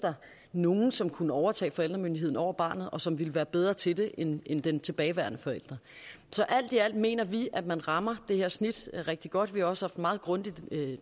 nogen som kunne overtage forældremyndigheden over barnet og som ville være bedre til det end den tilbageværende forælder så alt i alt mener vi at man rammer det her snit rigtig godt vi har også haft meget grundige